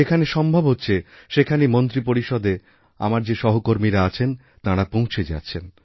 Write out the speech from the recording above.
যেখানে সম্ভবহচ্ছে সেখানেই মন্ত্রীপরিষদে আমার যে সহকর্মীরা আছেন তাঁরা পৌঁছে যাচ্ছেন